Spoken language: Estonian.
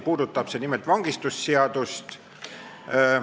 Puudutab see nimelt vangistusseadust.